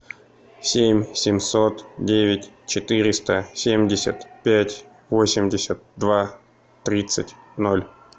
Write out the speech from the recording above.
семь семьсот девять четыреста семьдесят пять восемьдесят два тридцать ноль